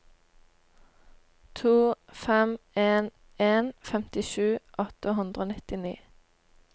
to fem en en femtisju åtte hundre og nittini